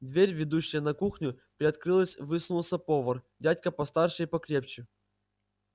дверь ведущая на кухню приоткрылась высунулся повар дядька постарше и покрепче